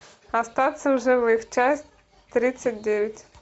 остаться в живых часть тридцать девять